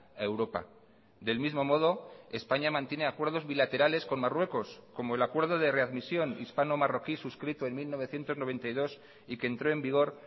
a europa del mismo modo españa mantiene acuerdos bilaterales con marruecos como el acuerdo de readmisión hispano marroquí suscrito en mil novecientos noventa y dos y que entró en vigor